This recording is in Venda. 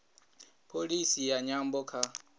pholisi ya nyambo kha